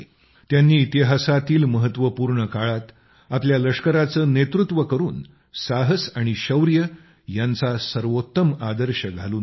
त्यांनी इतिहासातील महत्वपूर्ण काळात आपल्या लष्कराचं नेतृत्व करून साहस आणि शौर्य यांचा सर्वोत्तम आदर्श घालून दिला